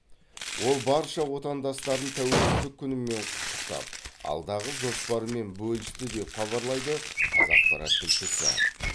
ол барша отандастарын тәуелсіздік күнімен құттықтап алдағы жоспарымен бөлісті деп хабарлайды қазақпарат тілшісі